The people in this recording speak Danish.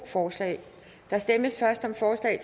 forslag